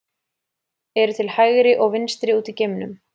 Eru til hægri og vinstri úti í geimnum?